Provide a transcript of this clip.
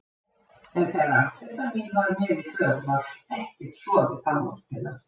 En þegar amfetamín var með í för var ekkert sofið þá nóttina.